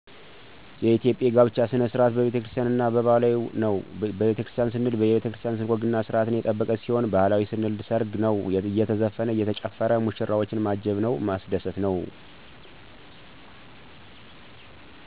የኢትዮጵያ የጋብቻ ስርዓት በቤተክርስቲያን እና በባህላዊ ነው በቤተክርስቲያን ስንል የቤተክርስቲያን ወግና ስርአት የጠበቀ ሲሆን ባህላዊ ስንል ሰርግ ነው አየተዘፈነ እየተጨፈረ ሙሽራዎችን ማጀብ ነው ማስደሰት ነው